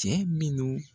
Cɛ minnu